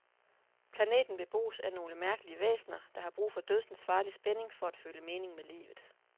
Planeten bebos af nogle mærkelige væsener, der har brug for dødsensfarlig spænding for at føle mening med livet.